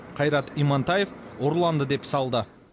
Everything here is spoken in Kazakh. қайрат имантаев ұрланды деп салды